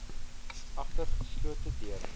agter geslote deure